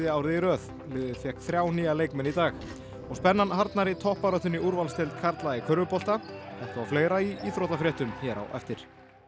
árið í röð liðið fékk þrjá nýja leikmenn í dag og spennan harðnar í toppbaráttunni í úrvalsdeild karla í körfubolta þetta og fleira í íþróttafréttum hér á eftir